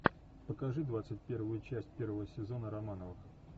покажи двадцать первую часть первого сезона романовых